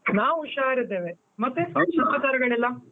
ನಾವು ಹುಷಾರಿದ್ದೇವೆ, ಮತ್ತೆ .